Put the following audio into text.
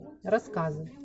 рассказы